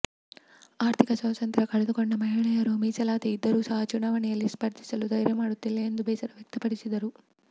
ಆರ್ಥಿಕ ಸ್ವಾತಂತ್ರ್ಯ ಕಳೆದುಕೊಂಡ ಮಹಿಳೆಯರು ಮೀಸಲಾತಿ ಇದ್ದರೂ ಸಹ ಚುನಾವಣೆಯಲ್ಲಿ ಸ್ಪರ್ಧಿಸಲು ಧೈರ್ಯ ಮಾಡುತ್ತಿಲ್ಲ ಎಂದು ಬೇಸರ ವ್ಯಕ್ತಪಡಿಸಿದರು